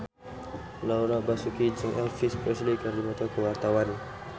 Laura Basuki jeung Elvis Presley keur dipoto ku wartawan